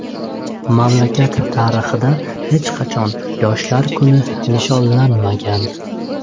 Mamlakat tarixida avval hech qachon yoshlar kuni nishonlanmagan.